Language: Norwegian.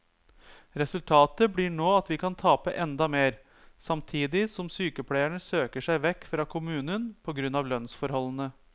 Resultatet blir nå at vi kan tape enda mer, samtidig som sykepleierne søker seg vekk fra kommunen på grunn av lønnsforholdene.